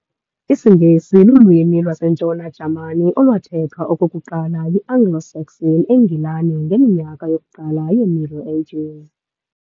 isiNgesi lulwimi lwaseNtshona-Jamani olwathethwa okokuqala yiAnglo-Saxon eNgilani ngeminyaka yokuqala yeMiddle Ages.